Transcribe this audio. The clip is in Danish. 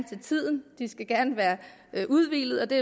til tiden de skal gerne være udhvilede og det